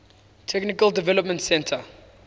technical development center